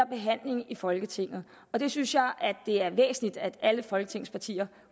behandlingen i folketinget det synes jeg er væsentligt at alle folketingets partier